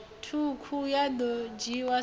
ṱhukhu ya ḓo dzhiiwa sa